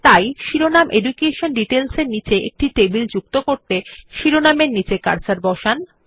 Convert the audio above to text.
তাই শিরোনাম education details এর নীচে একটি টেবিল যুক্ত করতে শিরোনামের নিচে কার্সার বসান